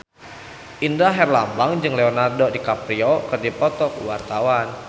Indra Herlambang jeung Leonardo DiCaprio keur dipoto ku wartawan